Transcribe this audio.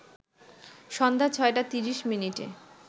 সন্ধ্যা ৬টা ৩০মিনিটে